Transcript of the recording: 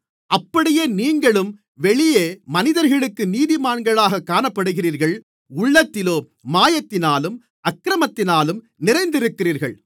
அப்படியே நீங்களும் வெளியே மனிதர்களுக்கு நீதிமான்களாகக் காணப்படுகிறீர்கள் உள்ளத்திலோ மாயத்தினாலும் அக்கிரமத்தினாலும் நிறைந்திருக்கிறீர்கள்